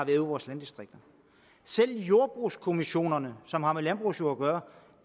i vores landdistrikter selv jordbrugskommissionerne som har med landbrugsjord at gøre